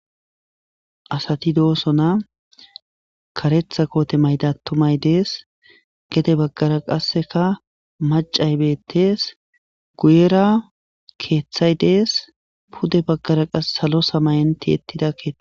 asati doosona karetha koote maydattumay dees gede baggara qasseka macay bettees guyera keeththay dees pude baggara qase salo samayanti ettida keetha